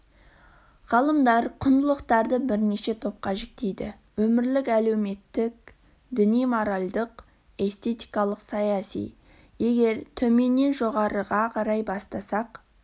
ғалымдар құндылықтарды бірнеше топқа жіктейді өмірлік әлеуметтік діни моральдық эстетикалық саяси егер төменнен жоғарыға қарай бастасақ